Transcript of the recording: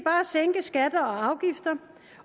sænke skatter og afgifter